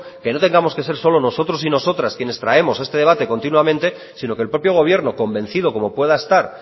que no tengamos que ser solo nosotros y nosotras quienes traemos este debate continuamente sino que el propio gobierno convencido como pueda estar